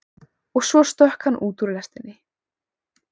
Og svo stökk hann út úr lestinni.